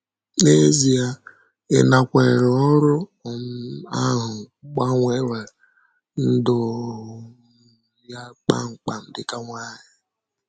N’ezie, ịnakwere ọrụ um ahụ gbanwere ndụ um ya kpam kpam dị ka nwanyị.